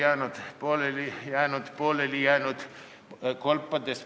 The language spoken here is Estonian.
Aitab, aitab, aitab küll!